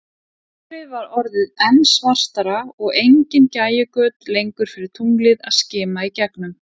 Myrkrið var orðið enn svartara, og engin gægjugöt lengur fyrir tunglið að skima í gegnum.